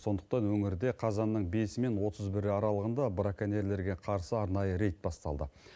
сондықтан өңірде қазанның бесі мен отыз бірі аралығында браконьерлерге қарсы арнайы рейд басталды